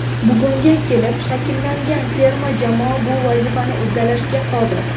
Bugunga kelib shakllangan terma jamoa bu vazifani uddalashga qodir.